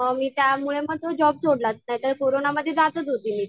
म मी त्यामुळे तो जॉब सोडला. नाहीतर कोरोनामध्ये जातच होते मी.